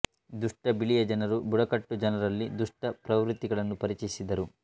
ದುಷ್ಟ ಬಿಳಿಯ ಜನರು ಬುಡಕಟ್ಟು ಜನರಲ್ಲಿ ದುಷ್ಟ ಪ್ರವೃತ್ತಿಗಳನ್ನು ಪರಿಚಯಿಸಿದರು